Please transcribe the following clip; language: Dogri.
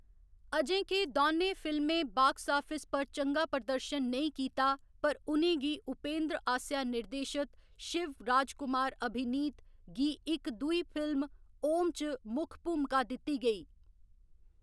अजें के दौनें फिल्में बाक्स आफिस पर चंगा प्रदर्शन नेईं कीता, पर उ'नें गी उपेंद्र आसेआ निर्देशत शिवराजकुमार अभिनीत गी इक दूई फिल्म ओम च मुक्ख भूमका दित्ती गेई।